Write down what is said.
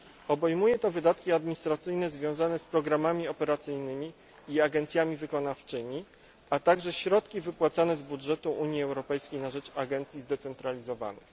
Obejmuje to wydatki administracyjne związane z programami operacyjnymi i agencjami wykonawczymi, a także środki wypłacane z budżetu Unii Europejskiej na rzecz agencji zdecentralizowanych.